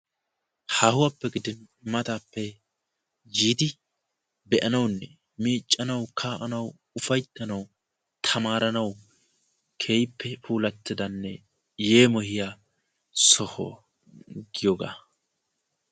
haahuwwappe gidi mattappe yiidi shemppanaw, miiccanawu maadiya keehipe yeemoyiaa so giyooga.